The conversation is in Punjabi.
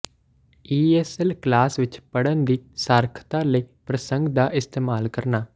ਈ ਐੱਸ ਐੱਲ ਕਲਾਸ ਵਿਚ ਪੜ੍ਹਨ ਦੀ ਸਾਖਰਤਾ ਲਈ ਪ੍ਰਸੰਗ ਦਾ ਇਸਤੇਮਾਲ ਕਰਨਾ